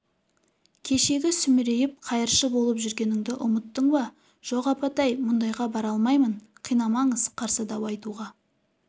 кешегі сүмірейіп қайыршы болып жүргеніңді ұмыттың ба жоқ апатай мұндайға бара алмаймын қинамаңыз қарсы дау айтуға